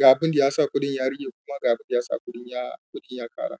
ga abin da ya sa kuɗin ya rage kuma ga abin da ya sa kuɗin ya ƙara.